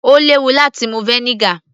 Ó léwu láti mu vinegar